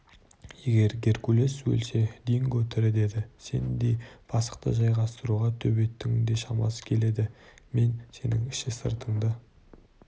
егер геркулес өлсе динго тірі деді сендей пасықты жайғастыруға төбеттің де шамасы келеді мен сенің іші-сыртыңды